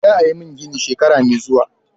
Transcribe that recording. Za a yi min gini shekara mai zuwa.